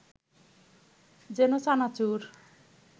যেন চানাচুর